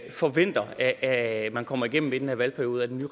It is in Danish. forventer at man kommer igennem med i den her valgperiode med